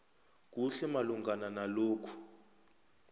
kuhle malungana nalokhu